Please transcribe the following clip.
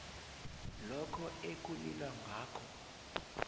lokho ekulilwa ngakho